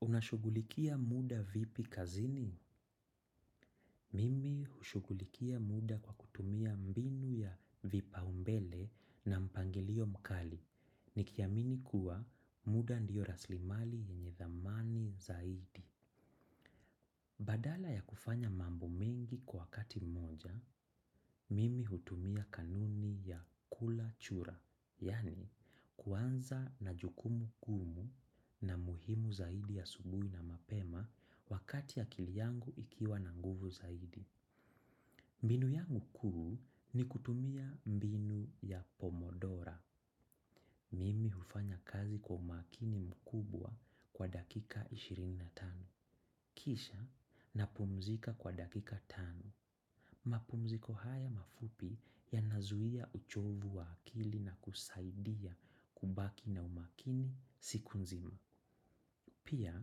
Unashugulikia muda vipi kazini? Mimi hushugulikia muda kwa kutumia mbinu ya vipaumbele na mpangilio mkali. Nikiamini kuwa muda ndiyo raslimali yenye thamani zaidi. Badala ya kufanya mambo mengi kwa wakati mmoja, mimi hutumia kanuni ya kula chura, yaani kuanza na jukumu kuu na muhimu zaidi ya asubuhi na mapema wakati akili yangu ikiwa na nguvu zaidi. Mbinu yangu kuu ni kutumia mbinu ya pomodora. Mimi hufanya kazi kwa umakini mkubwa kwa dakika ishirini na tano. Kisha napumzika kwa dakika tano. Mapumziko haya mafupi yanazuia uchovu wa akili na kusaidia kubaki na umakini siku nzima. Pia,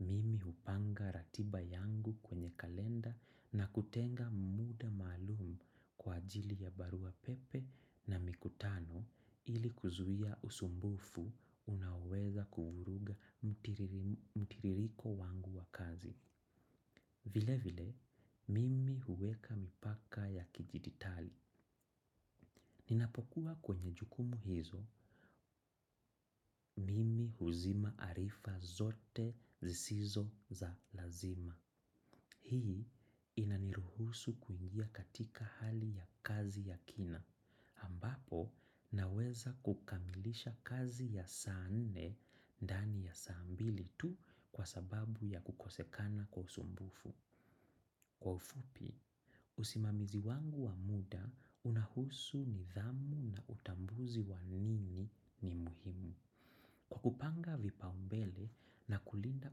mimi hupanga ratiba yangu kwenye kalenda na kutenga muda maalum kwa ajili ya barua pepe na mikutano ili kuzuia usumbufu unaoweza kuvuruga mtiririko wangu wa kazi. Vile vile, mimi huweka mipaka ya kidijitali. Ninapokuwa kwenye jukumu hizo, mimi huzima arifa zote zisizo za lazima. Hii inaniruhusu kuingia katika hali ya kazi ya kina, ambapo naweza kukamilisha kazi ya saa nne ndani ya saa mbili tu kwa sababu ya kukosekana kwa usumbufu. Kwa ufupi, usimamizi wangu wa muda unahusu nidhamu na utambuzi wa nini ni muhimu. Kwa kupanga vipaumbele na kulina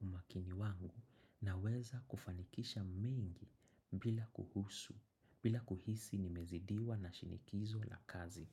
umakini wangu naweza kufanikisha mengi bila kuhisi nimezidiwa na shinikizo la kazi.